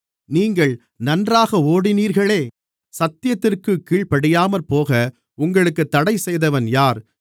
நீங்கள் நன்றாக ஓடினீர்களே சத்தியத்திற்குக் கீழ்ப்படியாமற்போக உங்களுக்குத் தடைசெய்தவன் யார்